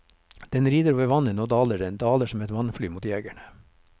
Den rider over vannet, nå daler den, daler som et vannfly mot jegerne.